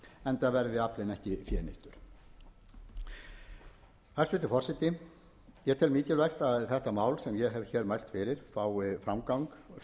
enda verði aflinn ekki fénýttur hæstvirtur forseti ég tel mikilvægt að þetta mál sem eg hef hér mælt fyrir fái sem hraðastan framgang og legg til